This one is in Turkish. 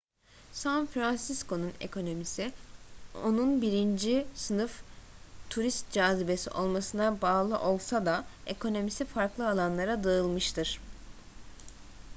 san fransisco'nun ekonomisi onun birinci sınıf turist cazibesi olmasına bağlı olsa da ekonomisi farklı alanlara dağılmıştır